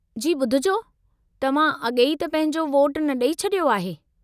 जी ॿुधिजो, तव्हां अॻेई त पंहिंजो वोटु न ॾेई छडि॒यो आहे?